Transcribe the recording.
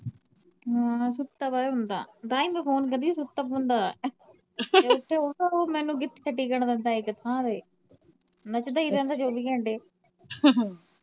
ਹਮ ਸੁੱਤਾ ਪਿਆ ਹੁੰਦਾ ਤਾ ਈ ਮੈ ਫੋਨ ਕਰਦੀ ਜਦੋ ਸੁੱਤਾ ਪਿਆ ਹੁੰਦਾ ਉਹ ਮੈਨੂੰ ਕਿੱਥੇ ਟਿਕਣ ਦਿੰਦਾ ਈ ਇਕ ਥਾਂ ਤੇ ਨੱਚਦਾ ਈ ਰਹਿੰਦਾ ਚਵੀ ਘੰਟੇ